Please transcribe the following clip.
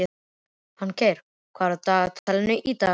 Fanngeir, hvað er á dagatalinu í dag?